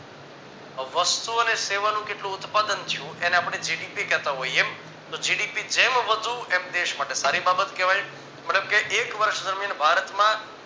વસ્તુ અને સેવા નું કેટલું ઉત્પાદન થયું એને આપડે GDP કેહતા હોઈએ તો GDP જેમ વધુ એમ દેશ માટે સારી બાબત કહેવાય મતલબ કે એક વર્ષ દરમિયાન ભારત માં